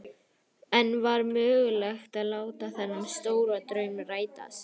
En var mögulegt að láta þennan stóra draum rætast?